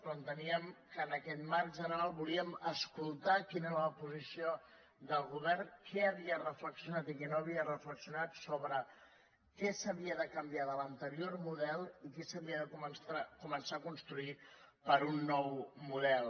però enteníem que en aquest marc general volíem escoltar quina era la posició del govern què havia reflexionat i què no havia reflexionat sobre què s’havia de canviar de l’anterior model i què s’havia de començar a construir per a un nou model